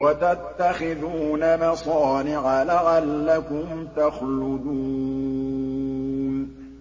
وَتَتَّخِذُونَ مَصَانِعَ لَعَلَّكُمْ تَخْلُدُونَ